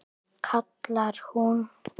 kallar hún.